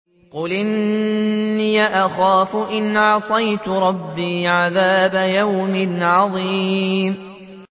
قُلْ إِنِّي أَخَافُ إِنْ عَصَيْتُ رَبِّي عَذَابَ يَوْمٍ عَظِيمٍ